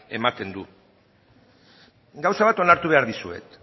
ematen du gauza bat onartu behar dizuet